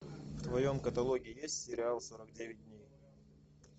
в твоем каталоге есть сериал сорок девять дней